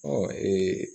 Ɔ